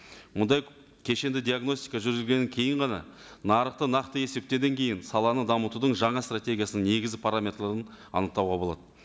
мұндай кешенді диагностика жүргізгеннен кейін ғана нарықты нақты есептеуден кейін саланы дамытудың жаңа стратегиясының негізгі параметрлерін анықтауға болады